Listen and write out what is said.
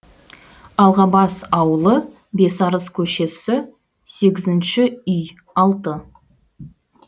алғабас ауылы бесарыс көшесі сегізінші үй алты